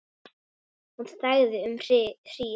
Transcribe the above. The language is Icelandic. Hún þagði um hríð.